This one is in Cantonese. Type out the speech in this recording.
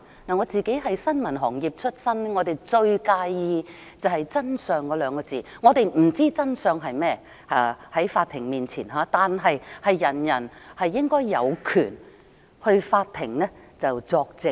我是新聞行業出身，最在意真相兩個字，我們不知道在法庭面前真相是甚麼，但人人皆應有權到法庭作證。